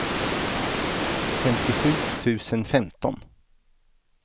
femtiosju tusen femton